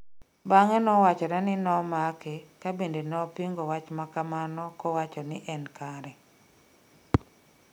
Bang'e nowachore ni nomake ka bende nopingo wach makamano kowacho ni en kare